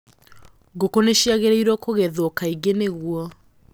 Ngũkũ nĩ ciagĩrĩirũo kũgethwo kaingĩ nĩguo